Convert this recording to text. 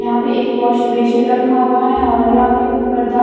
यहां पे एक वाश बेसिन रखा हुआ है और यहां पे एक पर्दा --